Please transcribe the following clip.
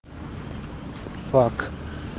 фак